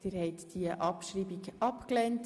Sie haben die Abschreibung abgelehnt.